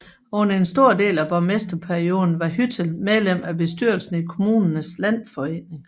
Under en stor del af borgmesterperioden var Hüttel medlem af bestyrelsen i Kommunernes Landsforening